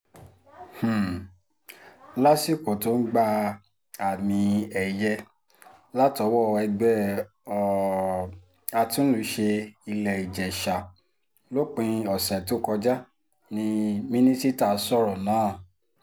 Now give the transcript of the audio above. um lásìkò tó ń gba àmì-ẹ̀yẹ látọwọ́ ẹgbẹ́ um àtúnlùṣe ilé-ìjèṣà lópin ọ̀sẹ̀ tó kọjá ní mínísítà sọ̀rọ̀ náà